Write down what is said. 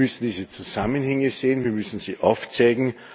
Wir müssen diese Zusammenhänge sehen, wir müssen sie aufzeigen.